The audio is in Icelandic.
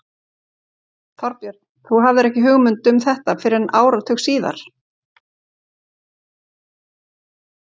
Þorbjörn: Þú hafðir ekki hugmynd um þetta fyrr en áratug síðar?